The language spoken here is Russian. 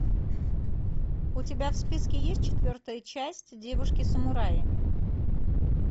у тебя в списке есть четвертая часть девушки самураи